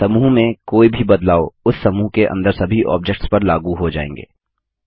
समूह में कोई भी बदलाव उस समूह के अंदर सभी ऑब्जेक्ट्स पर लागू हो जाएँगे